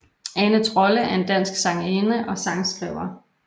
Ane Trolle er en dansk sangerinde og sangskriver